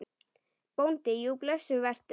BÓNDI: Jú, blessuð vertu.